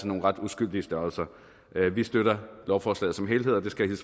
nogle ret uskyldige størrelser vi støtter lovforslaget som helhed og det skal jeg